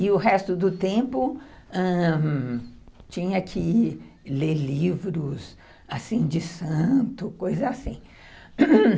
E o resto do tempo, ãh... tinha que ler livros de santo, coisa assim.